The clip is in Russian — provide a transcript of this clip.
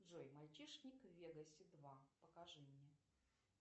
джой мальчишник в вегасе два покажи мне